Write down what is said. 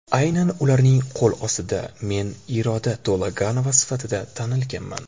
Aynan ularning qo‘l ostida men Iroda To‘laganova sifatida tanilganman.